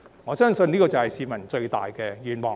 我相信這就是市民最大的願望。